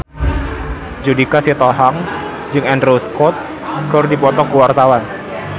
Judika Sitohang jeung Andrew Scott keur dipoto ku wartawan